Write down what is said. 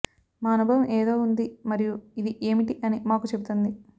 మా అనుభవం ఏదో ఉంది మరియు ఇది ఏమిటి అని మాకు చెబుతుంది